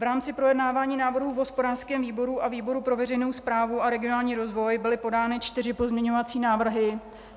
V rámci projednávání návrhu v hospodářském výboru a výboru pro veřejnou správu a regionální rozvoj byly podány čtyři pozměňovací návrhy.